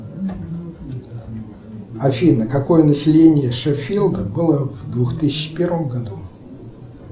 афина какое население шеффилда было в двух тысячи первом году